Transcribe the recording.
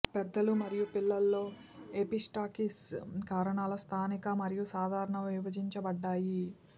పెద్దలు మరియు పిల్లల్లో ఎపిస్టాక్సిస్ కారణాలు స్థానిక మరియు సాధారణ విభజించబడ్డాయి